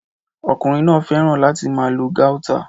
Ọkùnrin náà fẹ́ràn láti máa lo Gauta